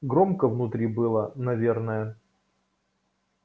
громко внутри было наверное